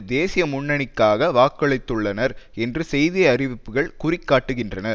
தேசிய முன்னணிக்காக வாக்களித்துள்ளனர் என்று செய்தி அறிவிப்புக்கள் குறிகாட்டுகின்றன